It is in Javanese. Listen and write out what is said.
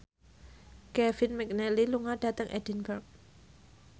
Kevin McNally lunga dhateng Edinburgh